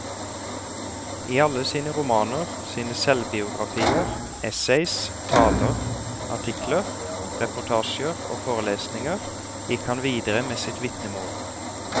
I alle sine romaner, sine selvbiografier, essays, taler, artikler, reportasjer og forelesninger gikk han videre med sitt vitnemål.